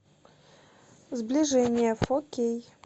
сближение фо кей